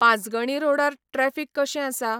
पांचगणी रोडार ट्रॅफिक कशें आसा?